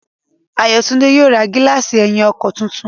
Ayọ̀túndé yóò ra gílààsì ẹ̀yìn ọkọ̀ tuntun